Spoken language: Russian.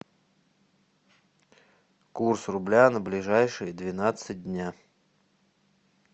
курс рубля на ближайшие двенадцать дня